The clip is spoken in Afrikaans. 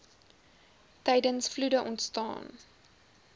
tydens vloede ontstaan